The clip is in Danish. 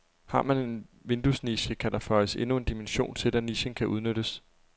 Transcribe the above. Har man en vinduesniche, kan der føjes endnu en dimension til, da nichen kan udnyttes.